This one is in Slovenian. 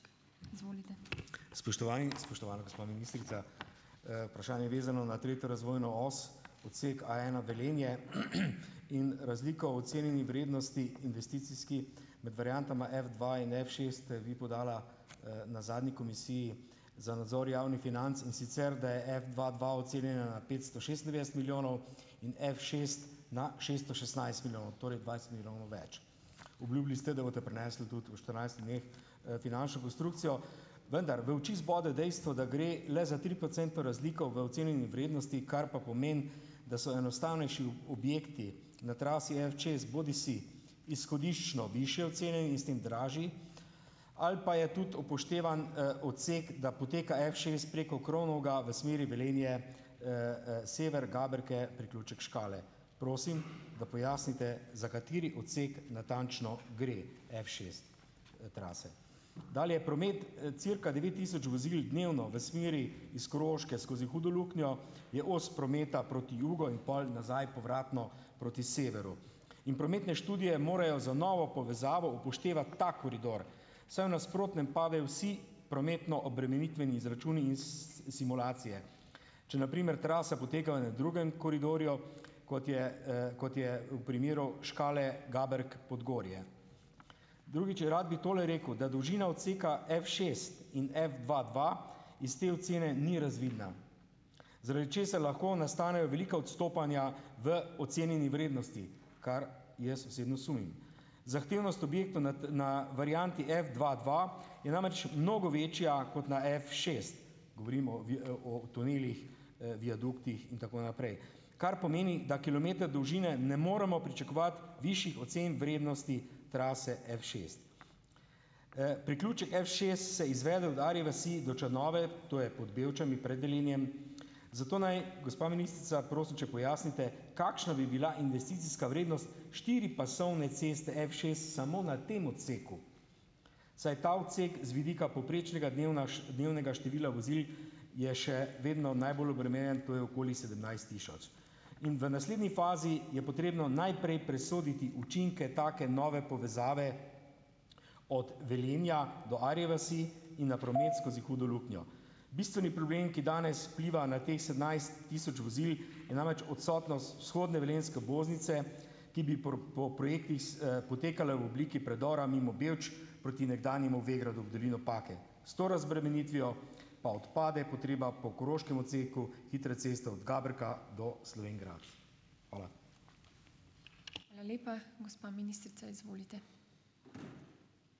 Spoštovani in spoštovana gospa ministrica! Vprašanje je vezano na tretjo razvojno os, odsek Aena Velenje in razliko o ocenjeni vrednosti investicijski med variantama Fdva in Fšest, ste vi podala, na zadnji Komisiji za nadzor javnih financ, in sicer da je Fdva dva ocenjena na petsto šestindevetdeset milijonov, in Fšest na šeststo šestnajst milijonov, torej dvajset milijonov več. Obljubili ste, da boste prinesli tudi v štirinajstih dneh, finančno konstrukcijo, vendar v oči zbode dejstvo, da gre le za triprocentno razliko v ocenjeni vrednosti, kar pa pomeni, da so enostavnejši objekti na trasi Fšest bodisi izhodiščno višje ocene in s tem dražji, ali pa je tudi upoštevan, odsek, da poteka Fšest preko Kronovega v smeri Velenje, Sever Gaberke, priključek Škale. Prosim, da pojasnite, za kateri odsek natančno gre, Fšest, trase dalje. Promet, cirka devet tisoč vozil dnevno v smeri iz Koroške skozi Hudo Luknjo je os prometa proti jugu in pol nazaj povratno proti severu in prometne študije morajo za novo povezavo upoštevati ta koridor, saj v nasprotnem padejo vsi prometno obremenitveni izračuni in simulacije. Če na primer trase potekajo na drugem koridorju, kot je, kot je v primeru Škale-Gaberke-Podgorje. Drugič, rad bi tole rekel, da dolžina odseka Fšest in Fdva dva iz te ocene ni razvidna, zaradi česar lahko nastanejo velika odstopanja v ocenjeni vrednosti, kar jaz osebno sumim. Zahtevnost objektov na na varianti Fdva dva je namreč mnogo večja kot na Fšest, govorimo o tunelih, viaduktih, in tako naprej, kar pomeni, da kilometer dolžine ne moremo pričakovati višjih ocen vrednosti trase Fšest. Priključek Fšest se izvede od Arje vasi do Črnomelj, to je pod Bevčami, pred Velenjem, zato naj gospa ministrica, prosim, če pojasnite, kakšna bi bila investicijska vrednost štiripasovne ceste Fšest samo na tem odseku, saj ta odsek z vidika povprečnega dnevnega števila vozil je še vedno najbolj obremenjen, to je okoli sedemnajst tisoč. In v naslednji fazi je potrebno najprej presoditi učinke take nove povezave od Velenja do Arje vasi in na promet skozi Hudo luknjo. Bistveni problem, ki danes vpliva na teh sedemnajst tisoč vozil, je namreč odsotnost vzhodne velenjske obvoznice, ki bi po projektih potekala v obliki predora mimo Bevč proti nekdanjemu Vegradu v dolino Pake. S to razbremenitvijo pa odpade potreba po koroškem odseku hitre ceste od Gabrka do Slovenj Gradca. Hvala.